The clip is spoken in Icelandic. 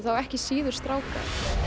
þá ekki síður stráka